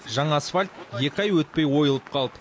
жаңа асфальт екі ай өтпей ойылып қалды